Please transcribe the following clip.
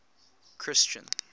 christian